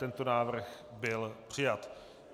Tento návrh byl přijat.